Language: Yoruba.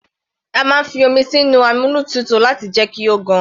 A máa ń fi omi sínu amómitutù láti jẹ́ kí ó gan.